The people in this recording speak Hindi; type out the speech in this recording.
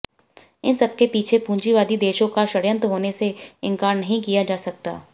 इस सब के पीछे पूंजीवादी देशों का षड्यंत्र होने से इनकार नहीं किया जा सकता